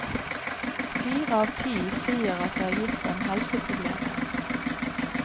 Fire av ti sier at det har gitt dem helseproblemer.